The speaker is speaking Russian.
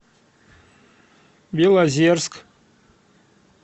белозерск